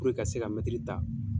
ka se ta